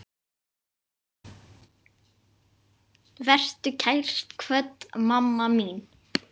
Vertu kært kvödd, mamma mín.